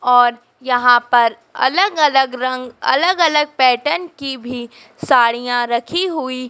और यहाँ पर अलग अलग रंग अलग अलग पैटर्न की भी साड़ियाँ रखी हुई। --